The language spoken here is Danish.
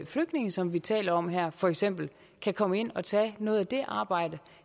flygtninge som vi taler om her for eksempel kan komme ind og tage noget af det arbejde